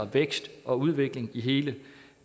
vækst og udvikling i hele